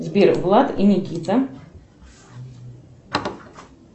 сбер влад и никита